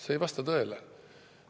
See ei vasta tõele.